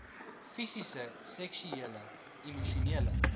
fisiese seksuele emosionele